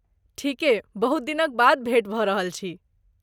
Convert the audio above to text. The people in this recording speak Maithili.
ठीके, बहुत दिनक बाद भेटि भऽ रहल छी।